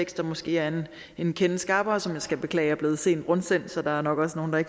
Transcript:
der måske er en en kende skarpere som jeg skal beklage er blevet sent rundsendt så der er nok også nogle der